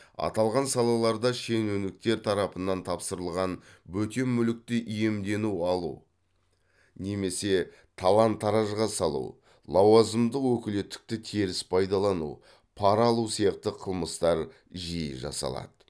аталған салаларда шенеуніктер тарапынан тапсырылған бөтен мүлікті иемдену алу немесе талан таражға салу лауазымдық өкілеттікті теріс пайдалану пара алу сияқты қылмыстар жиі жасалады